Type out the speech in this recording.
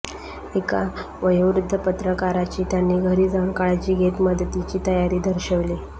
एका वयोवृद्ध पत्रकाराची त्यांनी घरी जाऊन काळजी घेत मदतीची तयारी दर्शविली